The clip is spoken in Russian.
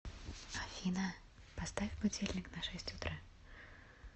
афина поставь будильник на шесть утра